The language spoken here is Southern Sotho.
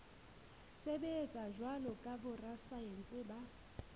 sebetsa jwalo ka borasaense ba